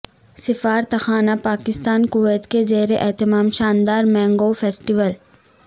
سفارتخانہ Pakistan Kuwait کے زیر اہتمام شاندار مینگو فیسٹول